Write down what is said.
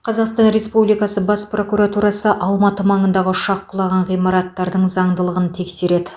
қазақстан республикасы бас прокуратурасы алматы маңындағы ұшақ құлаған ғимараттардың заңдылығын тексереді